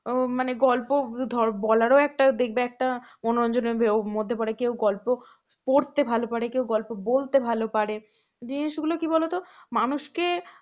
মানে গল্প বলার ও একটা energy মধ্যে পরে কেউ গল্প পড়তে ভালো করে কেউ গল্প বলতে ভালো পারে জিনিসগুলো কি বলতো মানুষকে